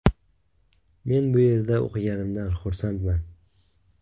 Men bu yerda o‘qiganimdan xursandman.